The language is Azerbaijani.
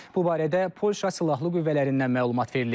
Bu barədə Polşa silahlı qüvvələrindən məlumat verilib.